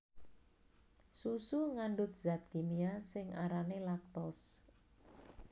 Susu ngandhut zat kimia sing arané laktose